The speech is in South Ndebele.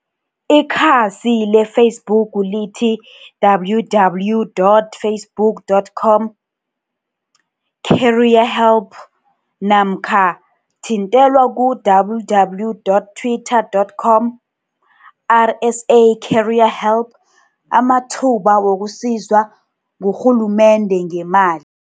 IKhasi le-Facebook lithi, www dot facebook dot com careerhelp, namkha Thwithela ku, www dot twitter dot com R S A careerhelp, Amathuba wokusizwa ngurhulumende ngeemali?